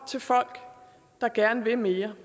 til folk der gerne vil mere